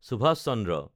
Subhash Chandra